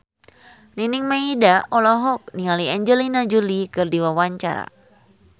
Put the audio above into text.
Nining Meida olohok ningali Angelina Jolie keur diwawancara